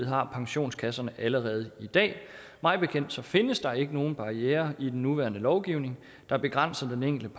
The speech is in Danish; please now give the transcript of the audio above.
har pensionskasserne allerede i dag mig bekendt findes der ikke nogen barrierer i den nuværende lovgivning der begrænser den enkelte